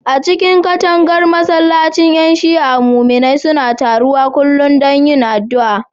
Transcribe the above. A cikin katangar masallacin ƴan Shi'a, muminai suna taruwa kullum don yin addu'a.